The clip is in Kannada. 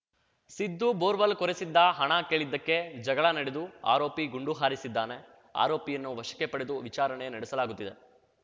ಸಿದ್ದು ಬೋರ್ವೆಲ್‌ ಕೊರೆಸಿದ್ದ ಹಣ ಕೇಳಿದ್ದಕ್ಕೆ ಜಗಳ ನಡೆದು ಆರೋಪಿ ಗುಂಡು ಹಾರಿಸಿದ್ದಾನೆ ಆರೋಪಿಯನ್ನು ವಶಕ್ಕೆ ಪಡೆದು ವಿಚಾರಣೆ ನಡೆಸಲಾಗುತ್ತಿದೆ